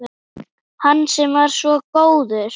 Hann sem var svo góður